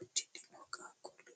uddidhinno qaaqulli leelanoe.